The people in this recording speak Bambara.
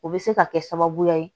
O bɛ se ka kɛ sababuya ye